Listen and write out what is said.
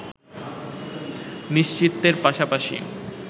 নিশ্চিতের পাশাপাশি